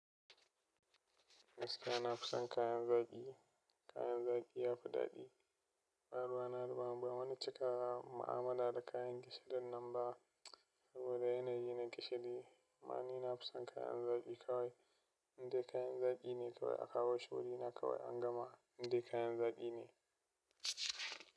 Gaskiyana fison kayan zaki. Kayan zaƙi yafi daɗi. Ba ruwana duba ba wani cika mu'amala da kayan gishirin nan ba. Saboda yanayi na gishiri. Ma ni na fison kayan zaƙi kawai. Inde kayan zaƙi ne kawai akawo shi wurina kawai an gama. Inde kayan zaki ne.